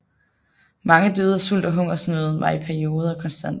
Mange døde af sult og hungersnøden var i perioder konstant